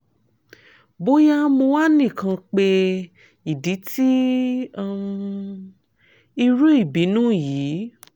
boya mo wa nikan pe idi ti um iru ibinu yii